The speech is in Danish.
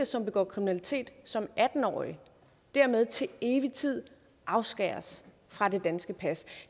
som begår kriminalitet som atten årig dermed til evig tid afskæres fra det danske pas